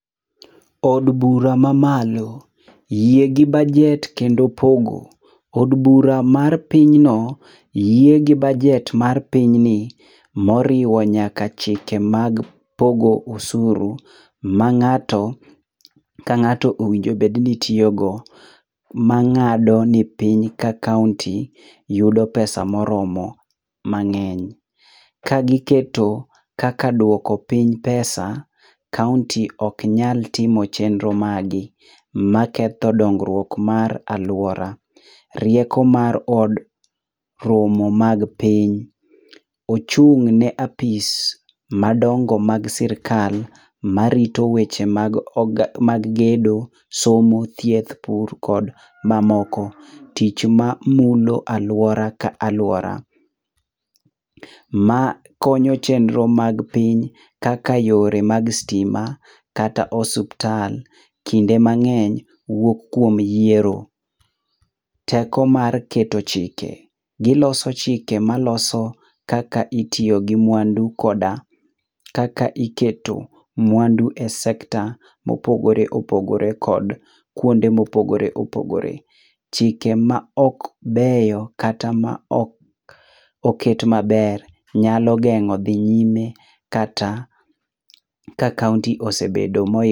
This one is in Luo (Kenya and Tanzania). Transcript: Od bura mamalo. Yie gi bajet kendo pogo. Od bura mar pinyno yiegi bajet mar pinyni moriwo nyaka chike mag pogo osuru mang'ato ka ng'ato owinjo bed ni tiyogo ma ng'ado ni piny ka kaonti yudo pesa moromo mang'eny. Kagiketo kaka duoko piny pesa kaonti ok nyal timo chenro maggi maketho dongruok mar alwora. Rieko mar od romo mag piny, ochung'ne apis madongo mag sirkal marito weche mag gedo, somo, thieth, pur kod mamoko, tich mamulo alwora ka alwora. Makonyo chenro mag piny kaka yore mag stima kata mag osuptal kinde mang'eny wuok kuom yiero. Teko mar keto chike. Giloso chike maloso kaka itiyo gi mwandu koda kaka iketo mwandu e sekta mopogore opogore kod kuonde mopogore opogore. Chike maok beyo kata maok oket maber nyalo geng'o dhi nyime kata ka kaonti osebedo moikore.